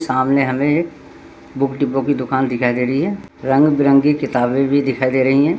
सामने हमें एक बुक डेपो की दुकान दिखाई दे रही है रंग-बिरंगी किताबें भी दिखाई दे रहीं हैं।